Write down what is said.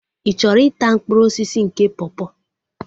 Ị chọrọ ịta mkpụrụ osisi nke pọpọ?